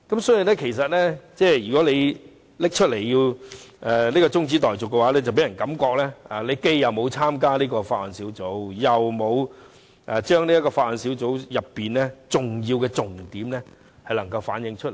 所以，他現在提出中止待續議案，便令人覺得他既沒有參加小組委員會，又沒有將小組委員會討論的重點反映出來。